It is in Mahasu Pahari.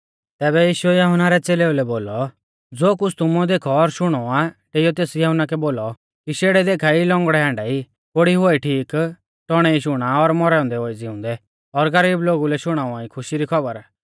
तैबै यीशुऐ यहुन्ना रै च़ेलेऊ लै बोलौ ज़ो कुछ़ तुमुऐ देखौ और शुणौ आ डेईयौ तेस यहुन्ना कै बोलौ कि शेड़ै देखा ई लौंगड़ै ई हांडा कोढ़ी हुआई ठीक टौणै ई शुणा मौरै औन्दै हुआई ज़िउंदै और गरीब लोगु लै शुणाउवा खुशी री खौबर